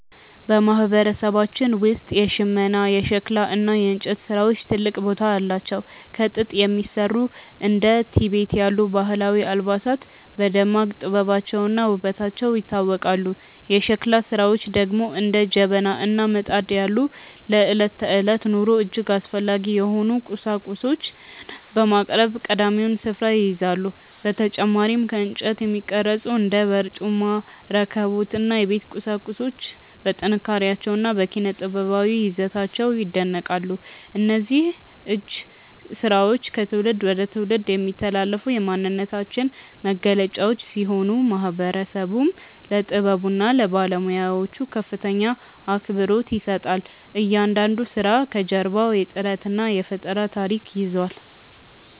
በማህበረሰባችን ውስጥ የሽመና፣ የሸክላ እና የእንጨት ስራዎች ትልቅ ቦታ አላቸው። ከጥጥ የሚሰሩ እንደ ቲቤት ያሉ ባህላዊ አልባሳት በደማቅ ጥበባቸውና ውበታቸው ይታወቃሉ። የሸክላ ስራዎች ደግሞ እንደ ጀበና እና ምጣድ ያሉ ለዕለት ተዕለት ኑሮ እጅግ አስፈላጊ የሆኑ ቁሳቁሶችን በማቅረብ ቀዳሚውን ስፍራ ይይዛሉ። በተጨማሪም ከእንጨት የሚቀረጹ እንደ በርጩማ፣ ረከቦት እና የቤት ቁሳቁሶች በጥንካሬያቸውና በኪነ-ጥበባዊ ይዘታቸው ይደነቃሉ። እነዚህ የእጅ ስራዎች ከትውልድ ወደ ትውልድ የሚተላለፉ የማንነታችን መገለጫዎች ሲሆኑ፣ ማህበረሰቡም ለጥበቡና ለባለሙያዎቹ ከፍተኛ አክብሮት ይሰጣል። እያንዳንዱ ስራ ከጀርባው የጥረትና የፈጠራ ታሪክ ይዟል።